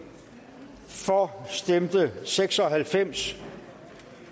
for stemte seks og halvfems